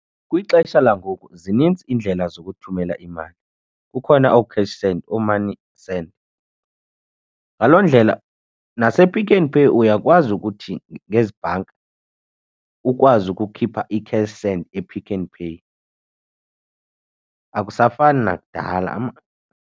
Kwixesha langoku zininzi iindlela zokuthumela imali, kukhona ooCashSend, ooMoney Send. Ngaloo ndlela nasePick 'n Pay uyakwazi ukuthi ngezi bhanka ukwazi ukukhipha iCashSend ePick 'n Pay akusafani nakudala.